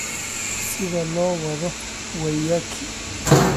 sida loo wado waiyaki